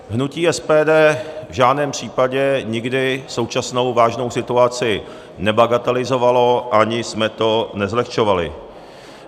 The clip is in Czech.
Hnutí SPD v žádném případě nikdy současnou vážnou situaci nebagatelizovalo ani jsme to nezlehčovali.